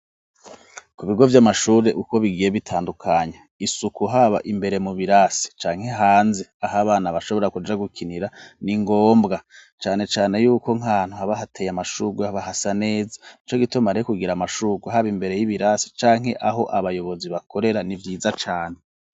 Ku bigo vy'amashure, uko bigiye bitandukanye, isuku haba imbere mu birasi canke hanze aho abana bashobora kuja gukinira ni ngombwa cane cane yuko nk'ahantu haba hateye amashurwe haba hasa neza. Nico gituma rero kugira amashurwe, haba imbere y'ibirasi canke aho abayobozi bakorera ni vyiza cane.